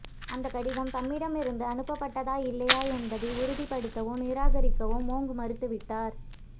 அந்தக் கடிதம் தம்மிடமிருந்து அனுப்பப்பட்டதா இல்லையா என்பதை உறுதிப்படுத்தவோ நிராகரிக்கவோ மொங் மறுத்து விட்டார்